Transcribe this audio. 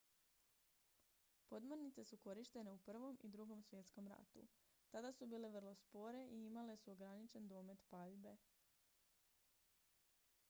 podmornice su korištene u i i ii svjetskom ratu tada su bile vrlo spore i imale su ograničen domet paljbe